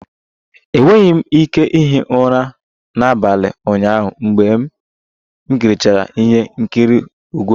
Enweghị m ike ihi ụra n'abalị ụnyaahụ mgbe m kirichara ihe nkiri egwu